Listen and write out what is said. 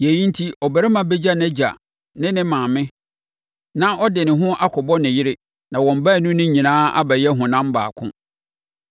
“Yei enti, ɔbarima bɛgya nʼagya ne ne maame, na ɔde ne ho akɔbɔ ne yere na wɔn baanu no nyinaa abɛyɛ honam baako.”